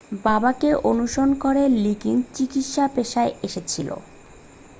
বাবাকে অনুসরণ করে লিগিনস চিকিৎসার পেশায় এসেছিল